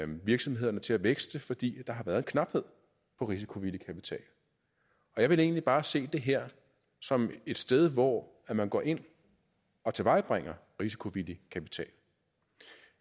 virksomhederne til at vækste fordi der har været knaphed på risikovillig kapital og jeg vil egentlig bare se det her som et sted hvor man går ind og tilvejebringer risikovillig kapital